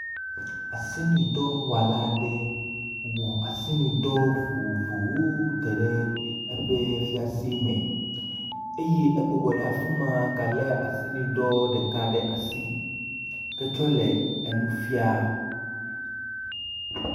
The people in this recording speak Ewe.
Asinudɔwɔla aɖe wɔ asinudɔ vovovowo da ɖe eƒe fiase me eye ebɔbɔ ɖe afi ma gale asinudɔ ɖeka ɖe asi ketsɔ le enu fia.